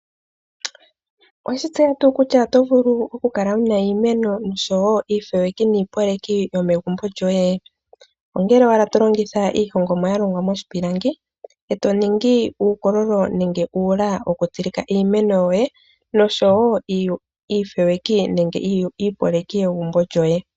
Oweshi tseya tuu kutya oto vulu okukala wuna iimeno osho wo iifeweki niipoleki yomegumbo lyoye? Ongele wakala tolongitha iihongomwa yalongwa moshipilangi eto ningi uukololo nenge uula wokutsilika iimeno yoye nosho wo iifeweki nenge iipoleki yegumbo lyoye.